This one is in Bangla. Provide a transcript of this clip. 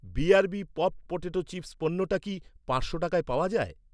বিআরবি পপড্ পটেটো চিপস পণ্যটা কি পাঁচশো টাকায় পাওয়া যায়?